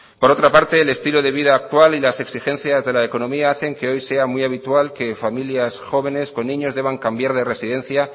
por otra parte el estilo de vida actual y las exigencias de la economía hacen que hoy sea muy habitual que familias jóvenes con niños deban cambiar de residencia